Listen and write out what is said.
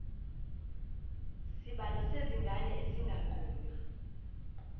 sibalo sezingane esinganqunywa